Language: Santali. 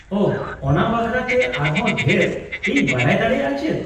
-ᱳᱦᱚ, ᱚᱱᱟ ᱵᱟᱠᱷᱨᱟ ᱛᱮ ᱟᱨ ᱦᱚᱸ ᱰᱷᱮᱨ ᱤᱧ ᱵᱟᱰᱟᱭ ᱫᱟᱲᱮᱭᱟᱜᱼᱟ ᱪᱮᱫ ?